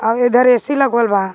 और उधर ए_सी लगवल बा.